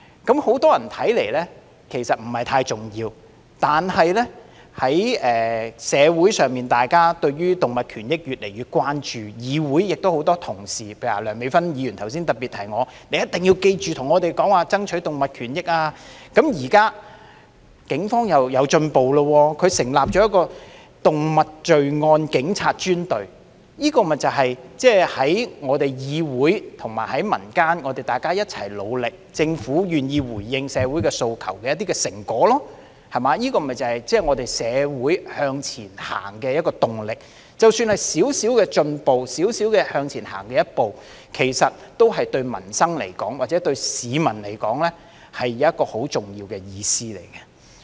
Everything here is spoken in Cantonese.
在很多人看來，其實這不太重要，但在社會上，大家對於動物權益越來越關注，議會亦有很多同事，例如梁美芬議員剛才提醒我："你一定要記着替我們爭取動物權益"，現在警方又有進步，成立了一個動物罪案警察專隊，這便是在我們議會和民間共同努力，政府願意回應社會訴求的一點成果，這亦是我們社會向前走的動力，即使是一點進步或向前走的一小步，對民生或市民來說，其實有極重要的意義。